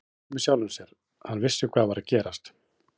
Hann brosti með sjálfum sér, hann vissi hvað var að gerast.